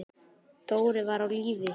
Dóri var á lífi.